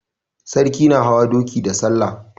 Sarki na hawa doki da salla.